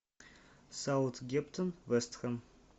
саутгемптон вест хэм